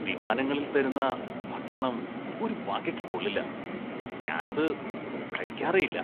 വിമാനങ്ങളില്‍ തരുന്ന ഭക്ഷണം ഒരു വകയ്ക്ക് കൊള്ളില്ല, ഞാന്‍ അത് കഴിക്കാറേയില്ല.